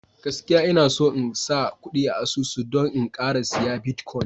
gaskiya Ina son in sa kudi a asusu don in Kara siya "Bitcoin "